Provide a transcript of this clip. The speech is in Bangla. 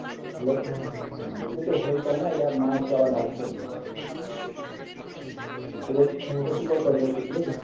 Hello বলছিতো Hold করনা মা আবার ডাকছে এই যে একটু পর Call করছি।